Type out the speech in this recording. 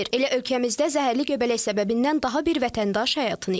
Elə ölkəmizdə zəhərli göbələk səbəbindən daha bir vətəndaş həyatını itirib.